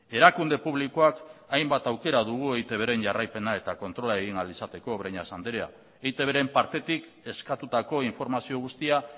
erakunde publikoak hainbat aukera dugu eitbren jarraipena eta kontrola egin ahal izateko breñas anderea eitbren partetik eskatutako informazio guztia